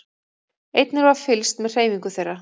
Einnig var fylgst með hreyfingu þeirra